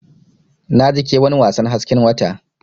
Naji ƙewan wasan hasken wata.